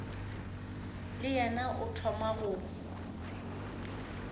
le yena o thoma go